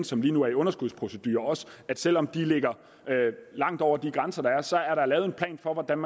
som lige nu er i underskudsprocedure at selv om de ligger langt over de grænser der er så er der lavet en plan for hvordan